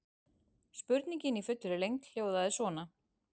Spurningin í fullri lengd hljóðaði svona: